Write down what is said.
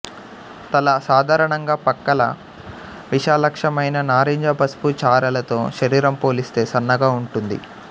తల సాధారణంగా పక్కల విలక్షణమైన నారింజ పసుపు చారల తో శరీరం పోలిస్తే సన్నగా ఉంటుంది